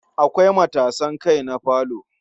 Akwai matasan kai na falo.